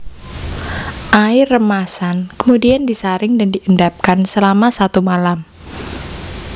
Air remasan kemudian disaring dan diendapkan selama satu malam